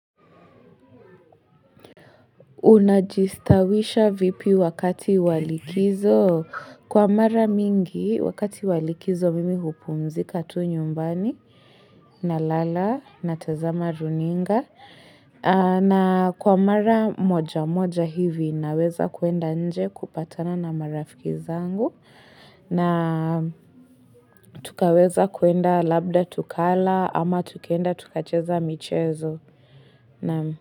Una jistawisha vipi wakati walikizo kwa mara mingi wakati walikizo mimi hupumzika tu nyumbani na lala na tazama runinga na kwa mara moja moja hivi naweza kuenda nje kupatana na marafiki zangu na tukaweza kuenda labda tukala ama tukaenda tukacheza michezo.